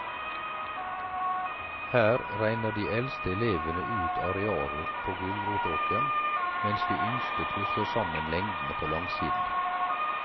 Her regner de eldste elevene ut arealet på gulrotåkeren, mens de yngste plusser sammen lengdene på langsidene.